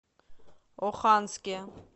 оханске